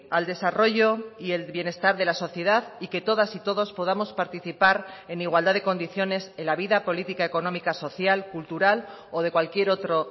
al desarrollo y el bienestar de la sociedad y que todas y todos podamos participar en igualdad de condiciones en la vida política económica social cultural o de cualquier otro